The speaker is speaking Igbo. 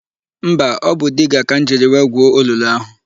Mba, ọ bụ diga ka m jiri wee gwuo olulu áhụ̀.